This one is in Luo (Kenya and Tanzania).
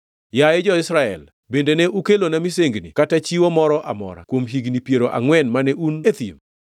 “Yaye jo-Israel, bende ne ukelona misengini kata chiwo moro amora kuom higni piero angʼwen mane un e thim?